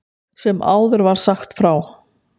Sem áður var sagt frá.